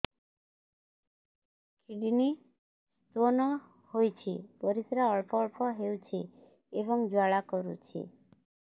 kidney stone ହୋଇଛି ପରିସ୍ରା ଅଳ୍ପ ଅଳ୍ପ ହେଉଛି ଏବଂ ଜ୍ୱାଳା କରୁଛି